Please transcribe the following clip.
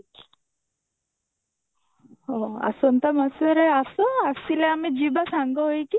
ହଉ ଆସନ୍ତା ମାସରେ ଆସ ଆସିଲେ ଆମେ ଯିବା ସାଙ୍ଗ ହେଇକି